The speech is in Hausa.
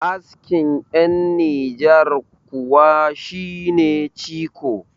askin yan niger kuwa shi ne ciko